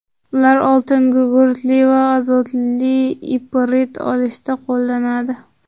Ular oltingugurtli va azotli iprit olishda qo‘llanadi.